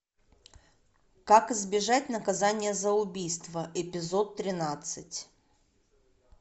как избежать наказания за убийство эпизод тринадцать